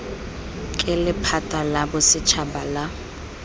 ke lephata la bosetšhaba la